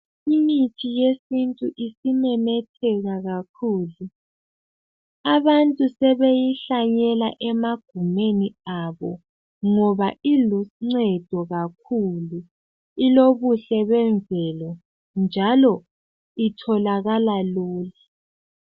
Imithi yesintu isimemetheka kakhulu. Abantu sebeyihlanyela emagumeni abo ngoba iluncedo kakhulu, ilobuhle bemvelo njalo itholakala lula.